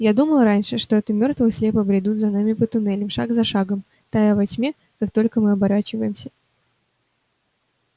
я думал раньше что это мёртвые слепо бредут за нами по туннелям шаг за шагом тая во тьме как только мы оборачиваемся